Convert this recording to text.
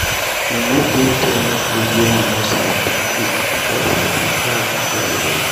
E no get any food wey I no sabi cook because I dey travel well-well.